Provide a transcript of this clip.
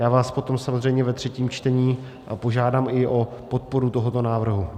Já vás potom samozřejmě ve třetím čtení požádám i o podporu tohoto návrhu.